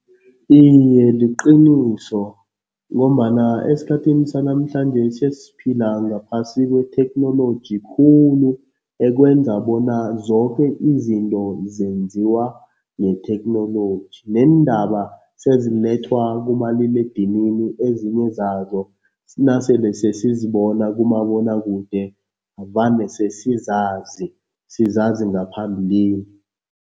Iye, liqiniso ngombana esikhathini sanamhlanjesi sesiphila ngaphasi kwetheknoloji khulu, ekwenza bona zoke izinto zenziwa yitheknoloji neendaba sezilethwa kumaliledinini ezinye zazo nasele sesizibona kumabonwakude vane sesizazi, sizazi ngaphambilini.